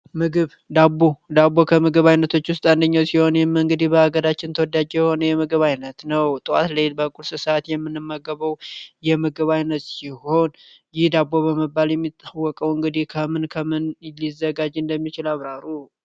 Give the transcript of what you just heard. ምግብ ዳቦ ዳቦ ከምግብ አይነቶች ውስጥ አንደኛው ሲሆን መንገድ በአገራችን ተወዳጅ የምግብ ዓይነት ነው የምግብ አይነቱ የዳቦ በመባል የሚታወቀው እንግዲ የምን ከምን ሊዘጋጅ እንደሚችሉ አብራሩ።